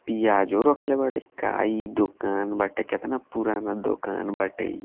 प्याजो रखले बाड़े का इ दुकान बाटे कतना पुराना दुकान बाटे।